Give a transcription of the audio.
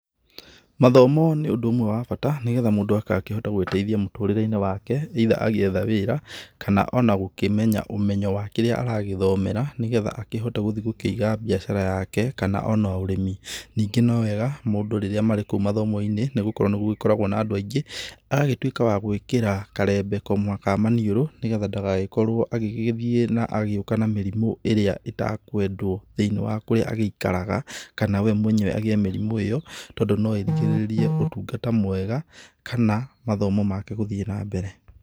Mathomo nĩ ũndũ ũmwe wa bata nĩgetha mũndũ agakĩhota gwĩteithia mũtũrĩre-inĩ wake either agĩetha wĩra kana ona gũkĩmenya ũmenyo wa kĩrĩa aragĩthomera nĩgetha akĩhote gũthiĩ gũkĩiga mbiacara yake kana ona ũrĩmi. Ningĩ no wega mũndũ rĩrĩa marĩ kũu mathomo-inĩ nĩ gũkorwo nĩ gũgĩkoragwo na andũ aingĩ agagĩtuĩka wa gũgĩkĩra karembeko ka maniũrũ nĩ getha ndagagĩkorwo agĩgĩthiĩ na agĩũka na mĩrimũ ĩrĩa ĩtakwendwo thĩiniĩ wa kũrĩa agĩikaraga, kana we mwenyewe agĩe mĩrimũ ĩyo, tondũ no ĩrigĩrĩrie ũtungata mwega kana mathomo make gũthiĩ na mbere.